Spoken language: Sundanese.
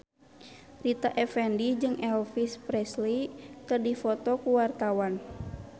Rita Effendy jeung Elvis Presley keur dipoto ku wartawan